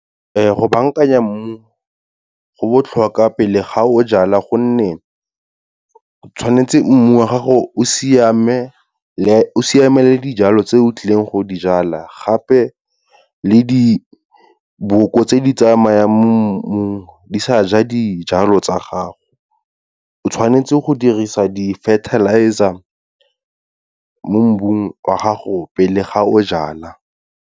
Go bankanya mmu, go botlhokwa pele ga o jala gonne, tshwanetse mmu wa gago o siamelele dijalo tse o tlileng go di jala gape le diboko tse di tsamayang mo mmung di sa ja dijalo tsa gago. O tshwanetse go dirisa di-fertilizer mo mmung wa gago pele ga o jala.